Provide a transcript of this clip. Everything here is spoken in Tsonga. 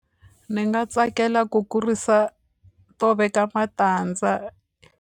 Ni nga tsakela ku kurisa to veka matandza.